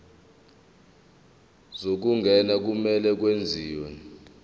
zokungena kumele kwenziwe